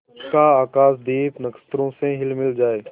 उसका आकाशदीप नक्षत्रों से हिलमिल जाए